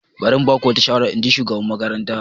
Bari in ba ku wata shawara, in ji shugaban makarantar.